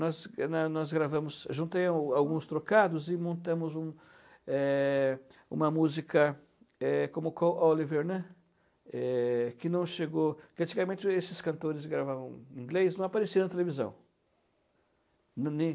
Nós nós nós gravamos, juntei alguns trocados e montamos um eh, uma música eh como Call Oliver, né, eh, que não chegou... Antigamente, esses cantores gravavam em inglês e não apareciam na televisão. Não, nem